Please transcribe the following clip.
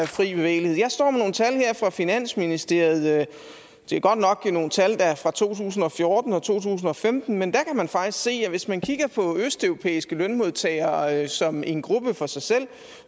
fri bevægelighed jeg står med nogle tal her fra finansministeriet det er godt nok nogle tal der er fra to tusind og fjorten og to tusind og femten men der kan man faktisk se at hvis man kigger på østeuropæiske lønmodtagere som en gruppe for sig selv